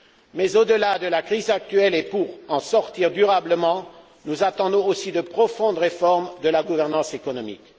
Mais au delà de la crise actuelle et pour en sortir durablement, nous attendons aussi de profondes réformes de la gouvernance économique.